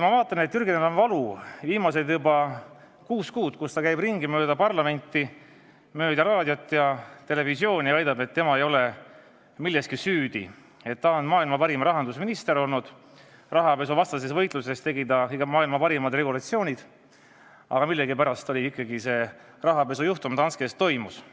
Ma vaatan, et Jürgenil on valu juba viimased kuus kuud, ta käib mööda parlamenti, raadios ja televisioonis ja väidab, et tema ei ole milleski süüdi, et ta on maailma parim rahandusminister olnud, rahapesuvastases võitluses tegi ta maailma parimad regulatsioonid, aga millegipärast ikkagi see rahapesujuhtum Danskes toimus.